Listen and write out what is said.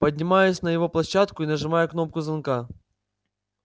поднимаюсь на его площадку и нажимаю кнопку звонка